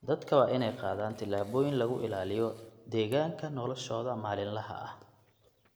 Dadka waa in ay qaadaan tallaabooyin lagu ilaaliyo deegaanka noloshooda maalinlaha ah.